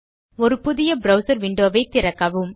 ஒரு புதிய browser window வை திறக்கவும்